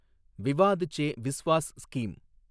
Vivad Se Vishwas scheme